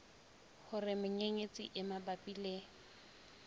hore menyenyetsi e mabapi le